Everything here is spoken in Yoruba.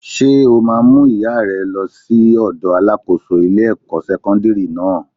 Ṣé o ma mú ìyá ẹ lọ sí ọ̀dọ̀ Alákóso ilé ẹ̀kọ́ sẹ́kọ́ńdírì náà?